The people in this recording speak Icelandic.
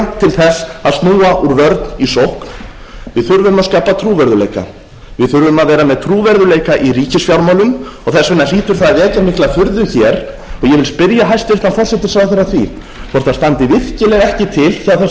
þess að snúa úr vörn í sókn við þurfum að skapa trúverðugleika við þurfum að vera með trúverðugleika í ríkisfjármálum og þess vegna hlýtur það að vekja mikla furðu hér og ég vil spyrja hæstvirtan forsætisráðherra að því hvort það standi virkilega ekki til hjá þessari ríkisstjórn